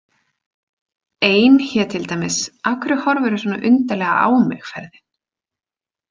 Ein hét til dæmis Af hverju horfirðu svona undarlega á mig- ferðin.